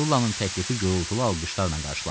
Sullanın təklifi gurultulu alqışlarla qarşılandı.